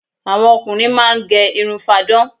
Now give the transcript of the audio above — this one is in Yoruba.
Àwọn ọkùnrin máá ń gẹ irun fáadán